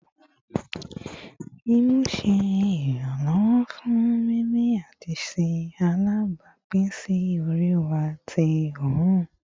Imu ṣe iranlọwọ fun mimi ati ṣe alabapin si ori wa ti oorun